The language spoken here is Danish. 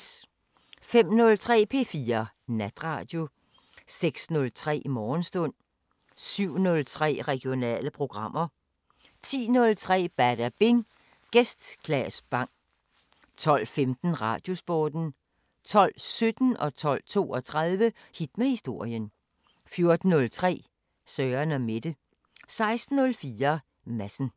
05:03: P4 Natradio 06:03: Morgenstund 07:03: Regionale programmer 10:03: Badabing: Gæst Claes Bang 12:15: Radiosporten 12:17: Hit med historien 12:32: Hit med historien 14:03: Søren & Mette 16:04: Madsen